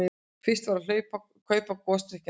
Fyrst var að kaupa gosdrykkina.